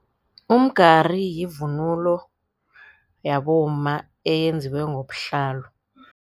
Umgari yivunulo yabomma eyenziwe ngobuhlalo.